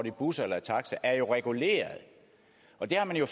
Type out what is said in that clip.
i busser eller taxa er jo reguleret og det har man jo